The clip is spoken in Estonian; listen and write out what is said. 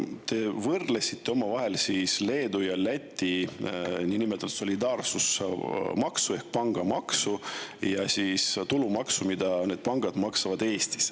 Te võrdlesite omavahel Leedu ja Läti niinimetatud solidaarsusmaksu ehk pangamaksu ja tulumaksu, mida need pangad maksavad Eestis.